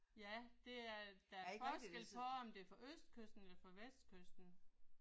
Ja det er der er forskel på om det er fra østkysten eller fra vestkysten